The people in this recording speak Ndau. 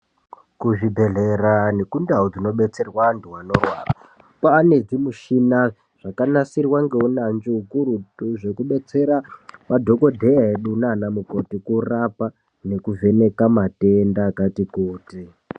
Kuzvibhehlera nekundau dzinodetserwa antu anorwara kwane zvimushina zvakanasirwa neuyanzvi ukurutu zvekudetsera madhokodheya edu nanamukoti kurapa nekuvheneka matenda akati kuti.